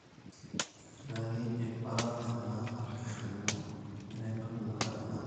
etaa keidipa ena application ino ,etaa entoki nabo ake nagor